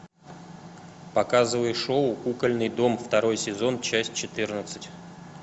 показывай шоу кукольный дом второй сезон часть четырнадцать